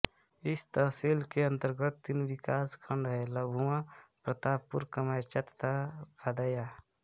इस तहसील के अन्तर्गत तीन विकास खण्ड हैं लम्भुआ प्रतापपुर कमैचा तथा भदैंया